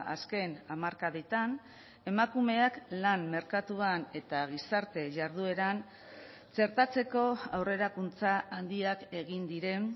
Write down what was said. azken hamarkadetan emakumeak lan merkatuan eta gizarte jardueran txertatzeko aurrerakuntza handiak egin diren